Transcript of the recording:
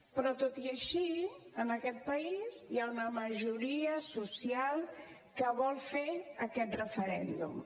però tot i així en aquest país hi ha una majoria social que vol fer aquest referèndum